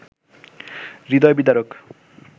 হৃদয় বিদারক